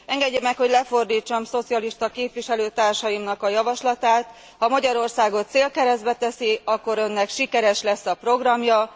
Engedje meg, hogy lefordítsam szocialista képviselőtársaimnak a javaslatát ha Magyarországot célkeresztbe teszi, akkor Önnek sikeres lesz a programja.